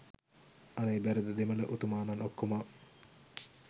අනේ බැරිද දෙමළ උතුමානන් ඔක්කොම